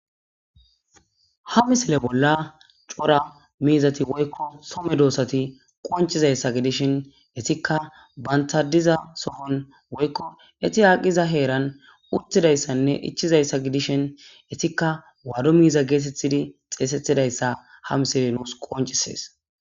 Ha misile bolla cora miizati woykko some doosati qoncizayssa gidishin etikka bantadiza sofon woykko eti haaqiza heeran uttidayssanne ichizayssa gidishin etikka waado miiza geetethidi xeesetidayssa ha misile nuus qoncisees